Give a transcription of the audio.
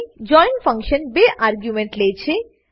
join function બે argument લે છે